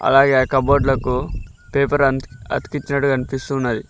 అలాగే ఆ కబోర్డ్ లకు పేపర్ అతికించాడు కనిపిస్తున్నది.